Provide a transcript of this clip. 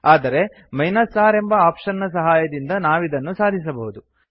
ಆದರೆ R ಎಂಬ option ನ ಸಹಾಯದಿಂದ ನಾವಿದನ್ನು ಸಾಧಿಸಬಹುದು